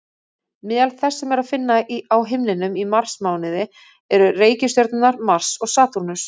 Meðal þess sem er að finna á himninum í marsmánuði eru reikistjörnurnar Mars og Satúrnus.